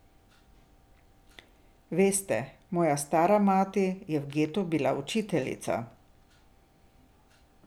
Veste, moja stara mati je bila v getu učiteljica.